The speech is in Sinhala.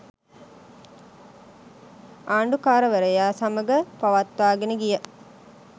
ආණ්ඩුකාරවරයා සමඟ පවත්වාගෙන ගිය